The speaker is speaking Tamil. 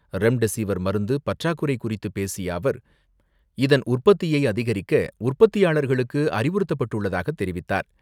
ரெம்டெஸிவர் மருந்து பற்றாக்குறை குறித்து பேசிய அவர், இதன் உற்பத்தியை அதிகரிக்க உற்பத்தியாளர்களுக்கு அறிவுறுத்தப்பட்டுள்ளதாக தெரிவித்தார்.